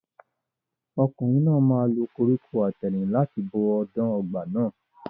Ọkùnrin náà máa lo koríko àtẹ̀rìn láti bo ọ̀dàn ọgbà náà.